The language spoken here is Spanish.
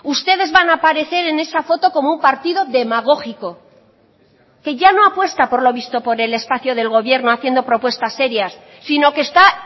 ustedes van a aparecer en esa foto como un partido demagógico que ya no apuesta por lo visto por el espacio del gobierno haciendo propuestas serias sino que está